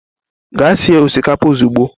Gaa sie osikapa ozugbo.